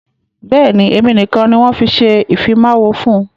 Bẹ́ẹ̀ni, èmi nìkan ni wọn ṣe ìfimawo fún.